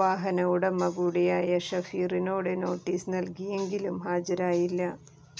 വാഹനമുടമ കൂടിയായ ഷഫീറിനോട് നോട്ടീസ് നല്കിയെങ്കിലും ഹാജരായില്ല